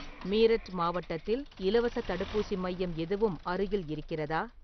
மீரட் மாவட்டத்தில் இலவசத் தடுப்பூசி மையம் எதுவும் அருகில் இருக்கிறதா?